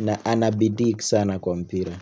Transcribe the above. na anabidii sana kwa mpira.